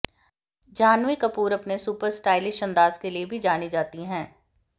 जाह्नवी कपूर अपने super stylish अंदाज के लिए भी जानी जाती हैं